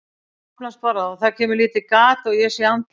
Svo opnast bara og það kemur lítið gat og ég sé andlit.